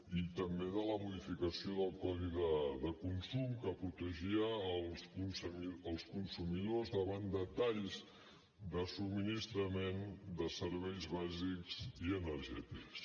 i també de la modificació del codi de consum que protegia els consumidors davant de talls de subministrament de serveis bàsics i energètics